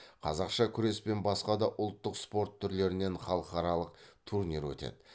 қазақша күрес пен басқа да ұлттық спорт түрлерінен халықаралық турнир өтеді